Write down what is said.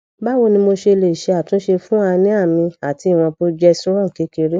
mawo ni mo se le se atunse fun anemia mi ati iwon progesterone kekere